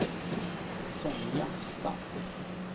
Sonja Stark